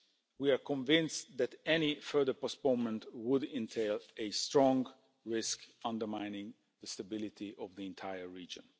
We are convinced that any further postponement would entail a strong risk, undermining the stability of the entire region.